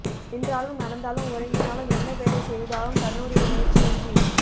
நின்றாலும் நடந்தாலும் உறங்கினாலும் என்ன வேலை செய்தாலும் தன்னுடைய முயற்சியின்றி